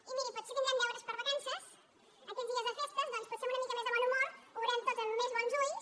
i miri potser tindrem deures per vacances aquests dies de festes doncs potser amb una mica més de bon humor ho veurem tot amb més bons ulls